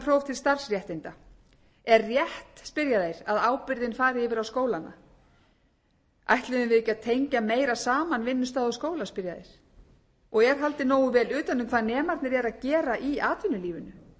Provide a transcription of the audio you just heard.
til starfsréttinda er rétt spyrja þeir að ábyrgðin fari yfir á skólana ætluðum við ekki að tengja meira saman vinnustaði og skóla spyrja þeir og er haldið nógu vel utan um hvað nemarnir eru að gera í atvinnulífinu og